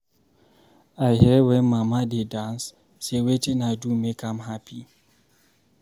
I hear wen mama dey dance say wetin I do make am happy.